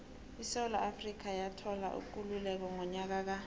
isewula afrika yathola ikululeko ngonyaka ka